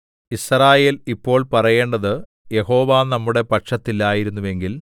യിസ്രായേൽ ഇപ്പോൾ പറയേണ്ടത് യഹോവ നമ്മളുടെ പക്ഷത്തില്ലായിരുന്നുവെങ്കിൽ